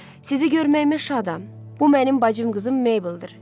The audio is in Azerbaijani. Sizi görməyimə şadam, bu mənim bacım qızım Mabeldir.